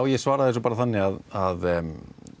ég svara þessu bara þannig að